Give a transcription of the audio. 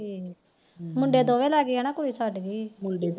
ਮੁਡੇ ਦੋਵੇ ਲੱਗ ਗੇ ਨਾ ਕੁੜੀ ਛੱਡਗੀ